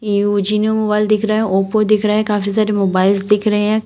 ये ओजीनों मोबाइल दिख रहा है ओप्पो दिख रहा है काफी सारे मोबाइल्स दिख रहे हैं।